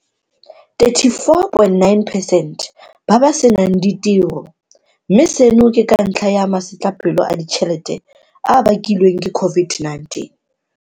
34.9 percent ba ba senang ditiro, mme seno ke ka ntlha ya masetlapelo a ditšhelete a a bakilweng ke COVID-19.